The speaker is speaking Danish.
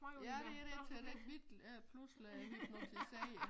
Ja det dét så det ikke øh pludselig hypnotiserer